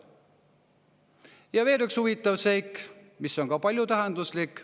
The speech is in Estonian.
Ja veel üks huvitav seik, mis on paljutähenduslik.